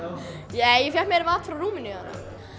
ég fékka mér mat frá Rúmeníu þarna